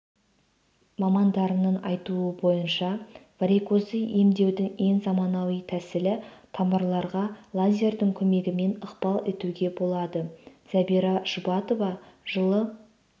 мамандардың айтуынша варикозды емдеудің ең заманауи тәсілі тамырларға лазердің көмегімен ықпал етуге болады зәбира жұбатова жылы